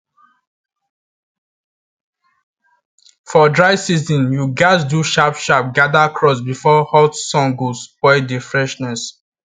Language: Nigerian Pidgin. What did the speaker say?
for dry season you gatz do sharp sharp gather crops before hot sun go spoil the freshness